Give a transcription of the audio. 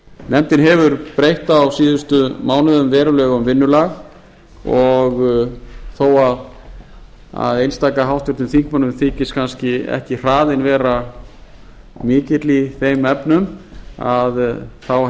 nefndin hefur breytt á síðustu mánuðum verulega um vinnulag og þó að einstaka háttvirtum þingmönnum þyki kannski ekki hraðinn vera mikill í þeim efnum þá hef